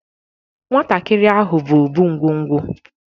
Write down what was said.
Nwatakịrị ahụ bụ Obụ ngwo ngwo